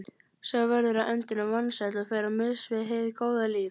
Sá verður á endanum vansæll og fer á mis við hið góða líf.